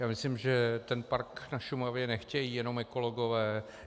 Já myslím, že ten park na Šumavě nechtějí jenom ekologové.